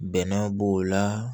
Bɛnɛ b'o la